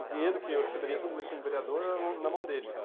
O dinheiro que eu receberia todo mês como vereador era na mão dele.